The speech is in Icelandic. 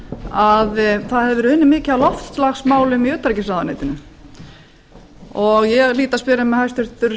að það hafi verið unnið mikið að loftslagsmálum í utanríkisráðuneytinu ég hlýt að spyrja mig hæstvirtur